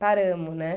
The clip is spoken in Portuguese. paramos, né?